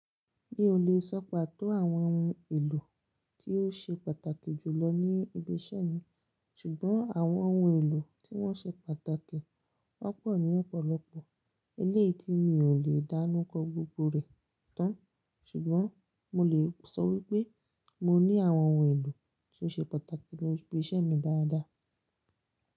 Mi ò lè sọ pàtó àwọn oun èlò tí ó ṣe pàtàkì jù lọ ní ibi iṣẹ́ mi, ṣùgbọ́n àwọn oun èlò tí wọ́n ṣe pàtàkì won pọ́pọ̀ ní ọ̀pọ̀lọpọ̀. Eléyìí ni mi ò lè dánukọ́ gbogbo rẹ̀ tán, ṣùgbọ́n mo lè sọ wípé mo ní àwọn oun èlò tó ṣe pàtàkì ni ibi iṣẹ́ mi dáadáa.